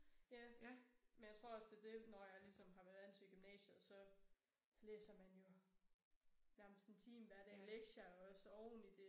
Ja men jeg tror også det er det når jeg ligesom har været vant til gymnasiet og så så læser man jo nærmest en time hver dag lektier også oveni det